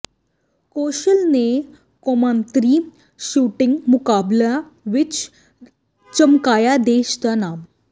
ਕੌਸ਼ਲ ਨੇ ਕੌਮਾਂਤਰੀ ਸ਼ੂਟਿੰਗ ਮੁਕਾਬਲਿਆਂ ਵਿੱਚ ਚਮਕਾਇਆ ਦੇਸ਼ ਨਾ ਨਾਮ